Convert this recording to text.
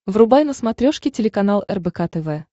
врубай на смотрешке телеканал рбк тв